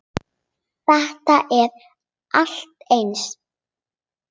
Þetta er allt eins!